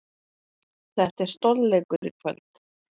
Þetta er stórleikur í kvöld.